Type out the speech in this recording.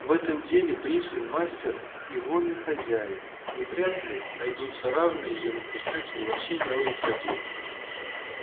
в этом деле пришвин мастер и вольный хозяин и вряд ли найдутся равные ему писатели во всей мировой литературе